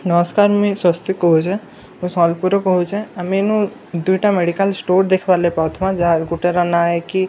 ନମସ୍କାର ମୁଇଁ ସ୍ୱସ୍ତିକ କହୁଁଛେ ମୁଇଁ ସମ୍ବଲପୁର ରୁ କହୁଁଛେ ଆମେ ଇନୁ ଦୁଇଟା ମେଡିକାଲ ଷ୍ଟୋର ଦେଖବାର ଲାଗି ପାଉଥିମାଁ ଯାହାର ଗୁଟେ ର ନା ଏ କି ଆରାଧ୍‌--